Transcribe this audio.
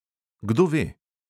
Kdo ve?